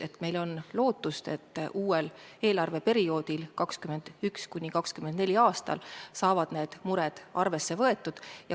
Ehk meil on lootust, et uuel eelarveperioodil, 2021.–2024. aastal, saavad need mured arvesse võetud.